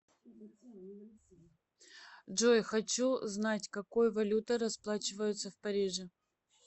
джой хочу знать какой валютой расплачиваются в париже